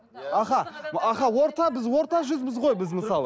аха аха біз орта жүзбіз ғой біз мысалы